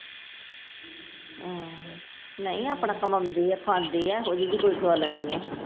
ਹਮ ਨਹੀ ਆਪਣਾ ਕਮਾਉਂਦੀ ਆ, ਖਾਂਦੀ ਆ, ਏਹੋ ਜਹੀ ਵੀ ਕੋਈ ਗੱਲ ਨਹੀ ਆ।